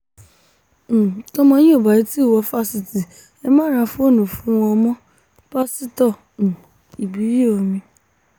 um tọ́mọ yín ò bá tì í wò fásitì ẹ má ra fóònù fún wọn mọ́- pásítọ̀ um ibíyeomi